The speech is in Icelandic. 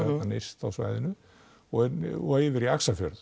nyrst á svæðinu og og yfir í